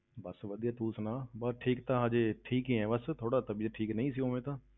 ਬਸ ਵਧੀਆ ਤੂੰ ਸੁਣਾ, ਬਸ ਠੀਕ ਤਾਂ ਹਜੇ, ਠੀਕ ਹੀ ਹਾਂ ਬਸ, ਥੋੜ੍ਹਾ ਠੀਕ ਤਬੀਅਤ ਠੀਕ ਨਹੀਂ ਸੀ ਉਵੇਂ ਤਾਂ।